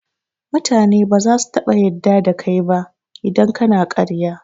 mutane baza su taɓa yadda da kai ba idan kana ƙarya